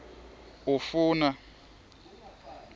ufuna